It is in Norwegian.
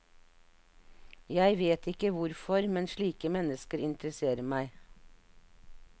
Jeg vet ikke hvorfor, men slike mennesker interesserer meg.